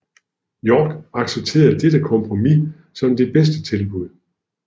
York accepterede dette kompromis som det bedste tilbud